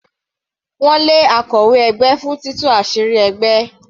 Wọ́n lé akọ̀wé ẹgbẹ́ fún títú àṣírí ẹgbẹ́.